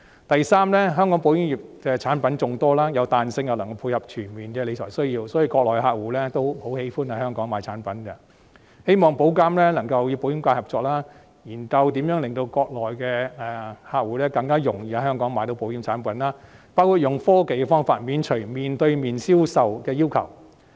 第三，香港保險業產品眾多，具彈性又能配合全面的理財需要，所以國內客戶十分喜歡在香港購買產品，希望保監局能夠與保險界合作，研究如何令國內的客戶更容易在香港購買保險產品，包括採用科技的方法，免除面對面銷售的要求。